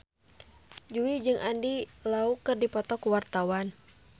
Jui jeung Andy Lau keur dipoto ku wartawan